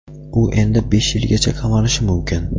U endi besh yilgacha qamalishi mumkin.